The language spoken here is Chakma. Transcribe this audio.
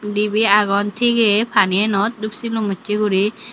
dibey agon tigey pani enot dup silum usse guri.